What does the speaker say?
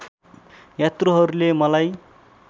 यात्रुहरूले मलाई